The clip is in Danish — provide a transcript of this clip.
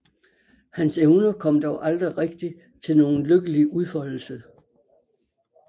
Hans evner kom dog aldrig rigtig til nogen lykkelig udfoldelse